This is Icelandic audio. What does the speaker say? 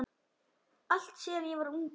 allt síðan ég var ungur.